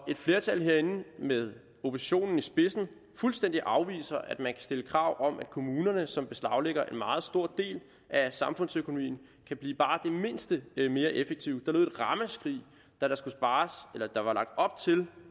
at et flertal herinde med oppositionen i spidsen fuldstændig afviser at man kan stille krav om at kommunerne som beslaglægger en meget stor del af samfundsøkonomien kan blive bare det mindste mere effektive da der skulle spares eller der var lagt op til